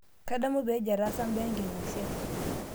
Kadamu peejo ataasa imbaa enking'asia